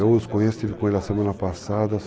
Eu os conheço, estive com ele a semana passada.